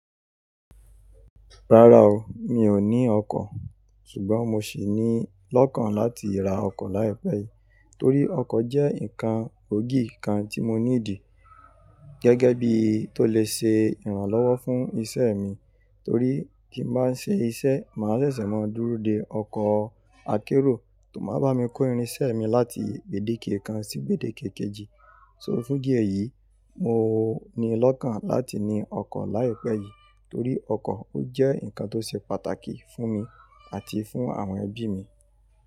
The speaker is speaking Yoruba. Rárá o, mi ò ní ọkọ̀. Ṣùgbọ́n mo sì ní lọ́kàn láti ra ọkọ̀ láìpẹ́ yìí. Torí ọkọ̀ jẹ́ ǹnkan gboògì kan tí mo nídì gẹ́gẹ́ bí tó le ṣe ìrànlọ́wọ́ fún iṣẹ́ mi. Torí tí n bá ń ṣe iṣẹ́, màá ṣẹ̀ṣẹ̀ máa dúró de ọkọ̀ akérò tó máa bá mi kó irinṣẹ́ mi láti ibẹ̀dẹ́kẹ́ kan sí ibẹ̀dẹ́kẹ́ kejì. So fún dí ẹ̀yìí, mo ní lọ́kàn láti ní ọkọ̀ láìpẹ́ yìí torí ọkọ̀ ó jẹ́ ǹnkan tó ṣe pàtàkì fún mi àti fún àwọn ẹbí mi.